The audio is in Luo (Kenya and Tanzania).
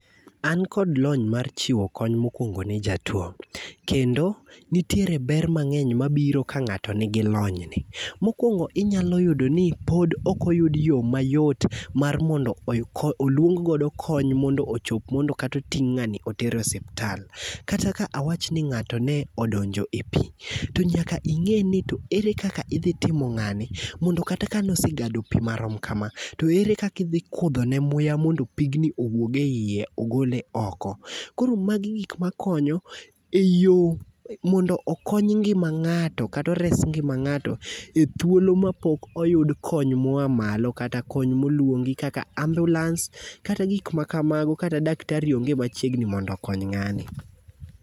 An kod lony mar chiwo kony mokwongo nejatuwo, kendo nitiere ber mang'eny mabiro ka ng'ato nigi lony. Mokwongo inyalo yudo ni pod okoyud yo mayot mar mondo oluong godo kony mondo ochop mondo kata oting' ng'ani oter e osuptal. Kata ka awach ni ng'ato ne odonjo e pi, to nyaka ing'e ni to ere kaka idhi timo ng'ani, mondo kata ka nosegado pi marom kama, to ere kaka idhi kudho ne muya mondo pigni owuog e iye mogole oko. Koro magi gik makonyo e yo mondo okony ng'ima ng'ato kata ores ngima ng'ato e thuolo mapok oyud kony moa malo kata kony molwongi kaka ambulans kata gik makamago kata daktari onge machiegni mondo okony ng'ani.